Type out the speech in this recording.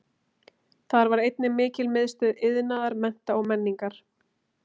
Þar var einnig mikil miðstöð iðnaðar, mennta og menningar.